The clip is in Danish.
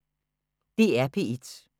DR P1